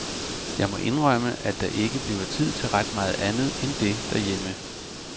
Jeg må indrømme, at der ikke bliver tid til ret meget andet end det herhjemme.